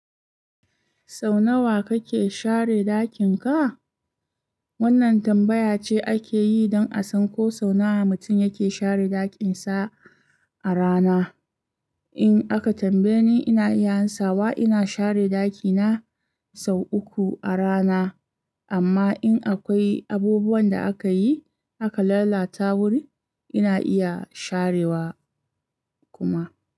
Sau nawa kake share ɗakin ka? Wannan tambaya ce ake yi don a san ko sau nawa mutum yake share ɗakin sa a rana. In aka tambaye ni, ina iya ansawa ina share dakina, sau uku a rana, amma in akwai abubuwan da aka yi, aka lalata wuri, ina iya sharewa kuma.